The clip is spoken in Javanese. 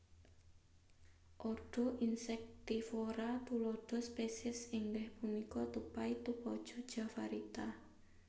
Ordo Insectivora tuladha spesies inggih punika tupai tupaja javarita